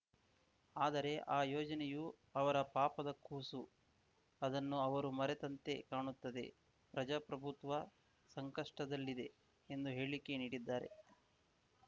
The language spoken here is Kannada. ಆದರೆ ಆ ಯೋಜನೆಯು ಅವರ ಪಾಪದ ಕೂಸು ಅದನ್ನು ಅವರು ಮರೆತಂತೆ ಕಾಣುತ್ತದೆ ಪ್ರಜಾಪ್ರಭುತ್ವ ಸಂಕಷ್ಟದಲ್ಲಿದೆ ಎಂದು ಹೇಳಿಕೆ ನೀಡಿದ್ದಾರೆ